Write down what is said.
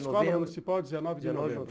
Escola Municipal, dezenove de novembro.